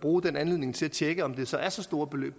bruge den anledning til at tjekke om det så er så store beløb